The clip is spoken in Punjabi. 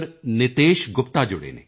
ਨਿਤੇਸ਼ ਗੁਪਤਾ ਜੁੜੇ ਹਨ